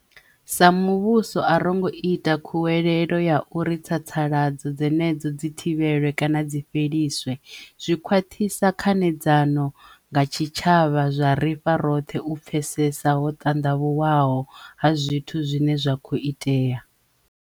Sa muvhuso a ro ngo ita khuwelelo ya uri tsatsa-ladzo dzenedzo dzi thivhelwe kana dzi fheliswe. Zwi khwaṱhisa khanedzano nga tshitshavha zwa ri fha roṱhe u pfesesa ho ṱanḓavhuwaho ha zwithu zwine zwa khou itea.